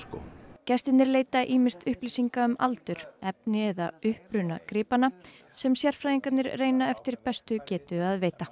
gestirnir leita ýmist upplýsinga um aldur efni eða uppruna gripanna sem sérfræðingarnir reyna eftir bestu getu að veita